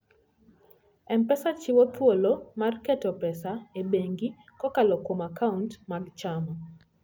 M-Pesa chiwo thuolo mar keto pesa e bengi kokalo kuom akaunt mag Chama.